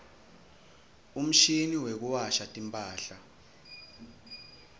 umshini wekuwasha timphahla